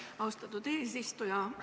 Aitäh, austatud eesistuja!